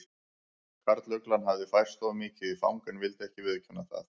Karluglan hafði færst of mikið í fang en vildi ekki viðurkenna það.